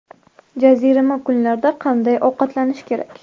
Jazirama kunlarda qanday ovqatlanish kerak?.